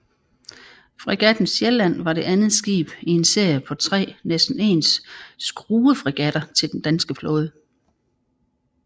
Fregatten Sjælland var det andet skib i en serie på tre næsten ens skruefregatter til den danske flåde